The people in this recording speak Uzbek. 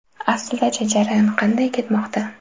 Aslidachi, jarayon qanday ketmoqda?